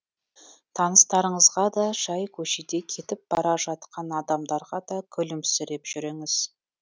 таныстарыңызға да жай көшеде кетіп бара жатқан адамдарға да күлімсіреп жүріңіз